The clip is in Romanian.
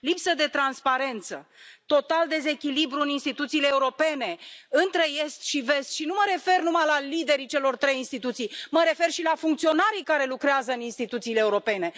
Lipsă de transparență, total dezechilibru în instituțiile europene, între est și vest, și nu mă refer numai la liderii celor trei instituții, mă refer și la funcționarii care lucrează în instituțiile europene.